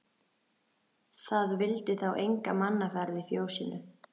Það vildi þá enga mannaferð í fjósinu.